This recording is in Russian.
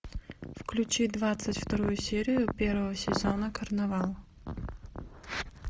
включи двадцать вторую серию первого сезона карнавал